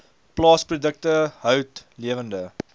plaasprodukte hout lewende